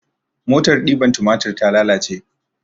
Motar ɗiban tumatir ta lalace